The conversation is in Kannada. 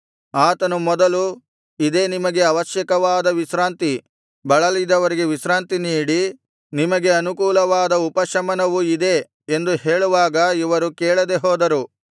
ಆತನು ಮೊದಲು ಇದೇ ನಿಮಗೆ ಅವಶ್ಯಕವಾದ ವಿಶ್ರಾಂತಿ ಬಳಲಿದವರಿಗೆ ವಿಶ್ರಾಂತಿ ನೀಡಿ ನಿಮಗೆ ಅನುಕೂಲವಾದ ಉಪಶಮನವು ಇದೇ ಎಂದು ಹೇಳುವಾಗ ಇವರು ಕೇಳದೆ ಹೋದರು